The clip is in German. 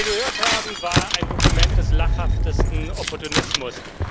Was wir gehört haben, war ein Dokument des lachhaftesten Opportunismus.